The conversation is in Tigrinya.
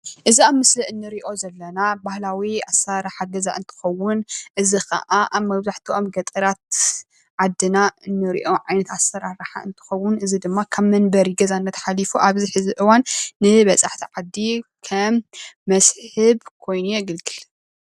እዚ ኣብ ምስሊ እንሪኦ ዘለና ባህላዊ ኣሰራርሓ ገዛ እንትኸውን እዚ ከዓ ኣብ መብዛሕቲኦም ገጠራት ዓድና እንሪኦ ዓይነት ኣሰራርሓ እንትኸውን እዚ ድማ ካብ መንበሪ ገዛነት ሓሊፉ ኣብዚ ሕዚ እዋን ንበፃሕቲ ዓዲ ከም መስሕብ ኮይኑ የግልግል።